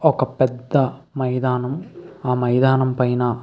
ఒక పెద్ద మైదానం. ఆ మైదానం పైన --